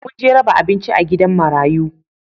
Mun je raba abinci a gidan marayu